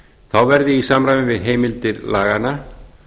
þá verði í samræmi við heimildir laganna